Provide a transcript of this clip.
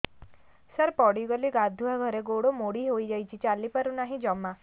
ସାର ପଡ଼ିଗଲି ଗାଧୁଆଘରେ ଗୋଡ ମୋଡି ହେଇଯାଇଛି ଚାଲିପାରୁ ନାହିଁ ଜମା